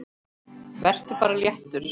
Vertu bara léttur!